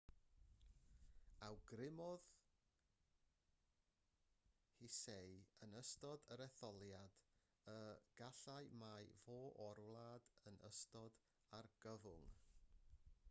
awgrymodd hsieh yn ystod yr etholiad y gallai ma ffoi o'r wlad yn ystod argyfwng